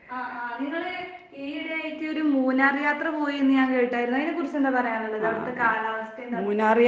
ആഹ് ആഹ് നിങ്ങള് ഈയിടെയായിട്ടൊരു മൂന്നാർ യാത്ര പോയീന്ന് ഞാൻ കേട്ടായിരുന്നു. അയിനെക്കുറിച്ചെന്താ പറയാന്ള്ളത്? അവടത്തെ കാലാവസ്ഥയെന്താന്ന്